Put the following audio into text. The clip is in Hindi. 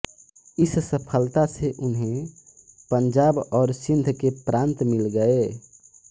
इस सफलता से उन्हें पंजाब और सिन्ध के प्रान्त मिल गए